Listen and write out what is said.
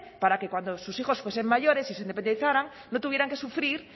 para que cuando sus hijos fuesen mayores y se independizaran no tuvieran que sufrir